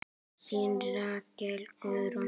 Þín Rakel Guðrún.